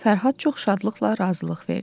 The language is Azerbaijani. Fərhad çox şadlıqla razılıq verdi.